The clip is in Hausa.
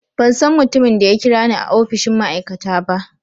Ban san mutumin da ya kira ni a opishin ma'aikata ba.